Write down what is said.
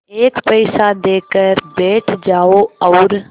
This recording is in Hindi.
एक पैसा देकर बैठ जाओ और